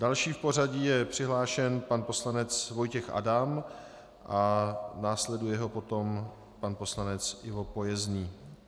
Další v pořadí je přihlášen pan poslanec Vojtěch Adam a následuje ho potom pan poslanec Ivo Pojezný.